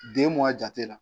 Den mugan jate la